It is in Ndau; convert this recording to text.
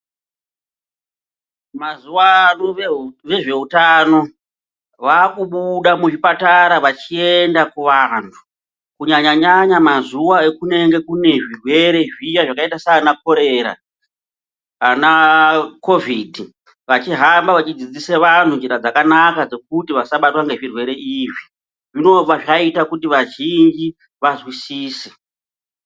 Mazuwano vezveutano vakubuda muzvipatara vachienda kuvantu kunyanya nyanya mazuwa ekunenge kune zvirwere zviya zvakaita sanakorera anakovhidhi vachihamba vachidzidzise vantu njira dzakanaka dzekuti vasabatwa ngezvirwere izvi zvinobva zvaita kuti vazhinji vazwisise.